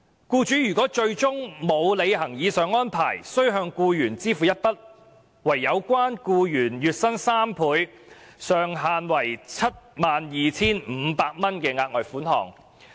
僱主若最終沒有履行上述命令，須向僱員支付一筆相等於有關僱員月薪3倍、上限為 72,500 元的額外款項。